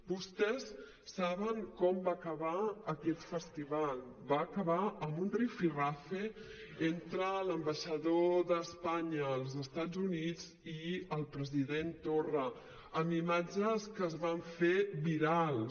vostès saben com va acabar aquest festival va acabar amb un rifirrafe entre l’ambaixador d’espanya als estats units i el president torra amb imatges que es van fer virals